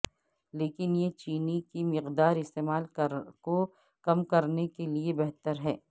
لیکن یہ چینی کی مقدار استعمال کو کم کرنے کے لئے بہتر ہے